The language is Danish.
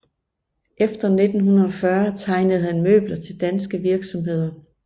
Efter 1940 tegnede han møbler til danske virksomheder